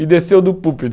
E desceu do púlpito.